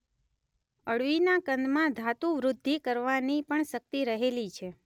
અળવીના કંદમાં ધાતુવૃદ્ધિ કરવાની પણ શક્તિ રહેલી છે.